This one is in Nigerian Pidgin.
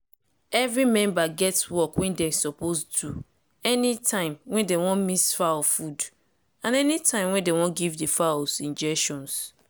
every member get work wey dem suppose do anytime wey dey wan mix fowls food and anytime wey dem wan give di fowls injections.